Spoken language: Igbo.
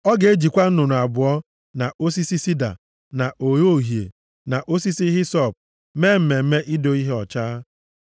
Ọ ga-ejikwa nnụnụ abụọ, na osisi sida, na ogho uhie, na osisi hisọp mee mmemme ido ihe ọcha.